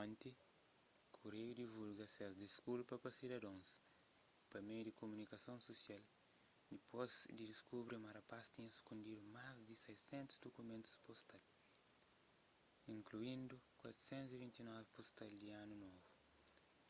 onti kureiu divulga ses diskulpa pa sidadons y pa meius di kumunikason susial dipôs di diskubri ma rapaz tinha sukundidu más di 600 dukumentu pustal inkluindu 429 pustal di anu novu